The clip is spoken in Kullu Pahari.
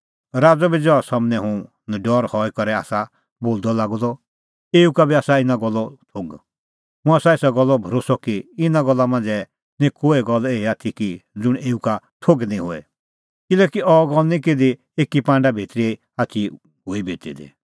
राज़अ बी ज़हा सम्हनै हुंह नडरअ हई करै आसा बोलदअ लागअ द एऊ का बी आसा इना गल्लो थोघ मुंह आसा एसा गल्लो भरोस्सअ कि इना गल्ला मांझ़ै निं कोहै गल्ल एही आथी कि ज़ुंण एऊ का थोघ निं होए किल्हैकि अह गल्ल निं किधी एकी पांडा भितरी आथी हुई बिती दी